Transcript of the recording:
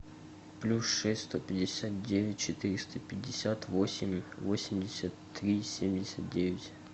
плюс шесть сто пятьдесят девять четыреста пятьдесят восемь восемьдесят три семьдесят девять